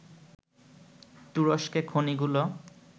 তুরস্কে খনিগুলো